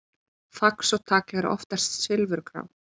Fax og tagl eru oftast silfurgrá.